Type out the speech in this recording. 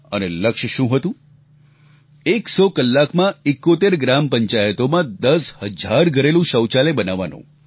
અને લક્ષ્ય શું હતું એક સો કલાકમાં 71 ગ્રામ પંચાયતોમાં દસ હજાર ઘરેલુ શૌચાલય બનાવવાનું